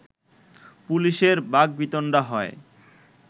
পুলিশের বাকবিতণ্ডা হয়